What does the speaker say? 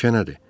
Meşə nədir?